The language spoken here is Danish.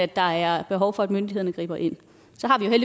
der er behov for at myndighederne griber ind så har